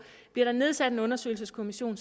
bliver der nedsat en undersøgelseskommission